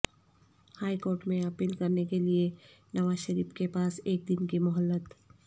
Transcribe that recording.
high court میں appeal کرنے کے لئے نواز شریف کے پاس ایک دن کی مہلت